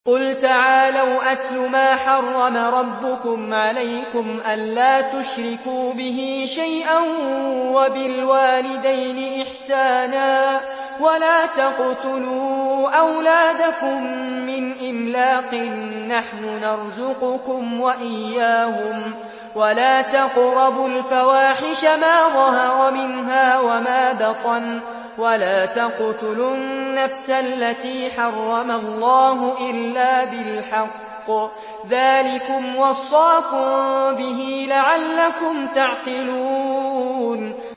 ۞ قُلْ تَعَالَوْا أَتْلُ مَا حَرَّمَ رَبُّكُمْ عَلَيْكُمْ ۖ أَلَّا تُشْرِكُوا بِهِ شَيْئًا ۖ وَبِالْوَالِدَيْنِ إِحْسَانًا ۖ وَلَا تَقْتُلُوا أَوْلَادَكُم مِّنْ إِمْلَاقٍ ۖ نَّحْنُ نَرْزُقُكُمْ وَإِيَّاهُمْ ۖ وَلَا تَقْرَبُوا الْفَوَاحِشَ مَا ظَهَرَ مِنْهَا وَمَا بَطَنَ ۖ وَلَا تَقْتُلُوا النَّفْسَ الَّتِي حَرَّمَ اللَّهُ إِلَّا بِالْحَقِّ ۚ ذَٰلِكُمْ وَصَّاكُم بِهِ لَعَلَّكُمْ تَعْقِلُونَ